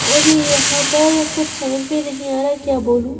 और यहाँ पर कुछ समझ में नहीं आ रहा क्या बोलूं ।